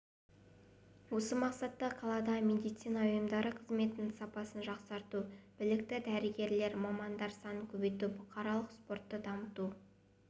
осы мақсатта қаладағы медицина ұйымдары қызметінің сапасын жақсарту білікті дәрігер-мамандар санын көбейту бұқаралық спортты дамыту